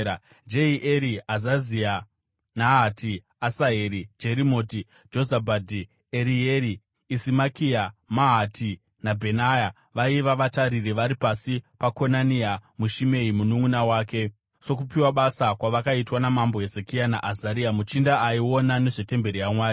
Jehieri, Azazia, Nahati, Asaheri, Jerimoti, Jozabhadhi, Erieri, Isimakia, Mahati, naBhenaya vaiva vatariri vari pasi paKonania naShimei mununʼuna wake, sokupiwa basa kwavakaitwa naMambo Hezekia naAzaria muchinda aiona nezvetemberi yaMwari.